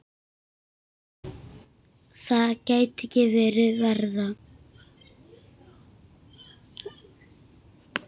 Það gæti ekki verið verra.